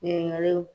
Ɲininkaliw